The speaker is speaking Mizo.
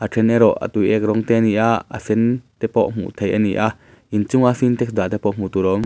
a tuiek rawng te a ni a a sen te pawh hmuh theih a ni a inchung a sintex dah te pawh hmuh tur a awm.